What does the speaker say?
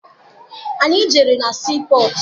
Anyị jere na sii pọtụ.